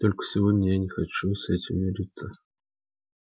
только сегодня я не хочу с этим мириться